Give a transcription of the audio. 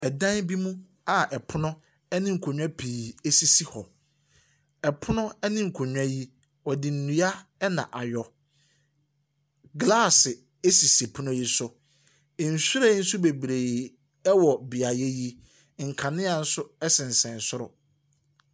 Dan bi mu pono ne nkonnwa sisi hɔ. Pono ne nkonnwa yi, wɔde nnua na ayɔ. Glaase sisi pono yi so, nhyiren nso bebree wɔ beaeɛ yi, nkanea nso sensɛn soro.